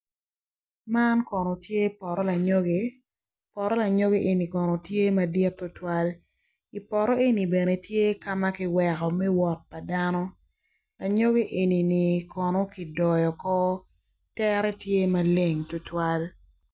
Man kono tye poto lanyogi poto lanyogi eni kono tye madit tutuwal i poto eni kono tye bene ka ma ki weko me wot pa dano. Anyogi eni kono ki doyo oko tere tye maleng tutwal.